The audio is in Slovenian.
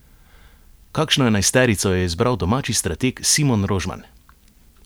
Kakšno enajsterico je izbral domači strateg Simon Rožman?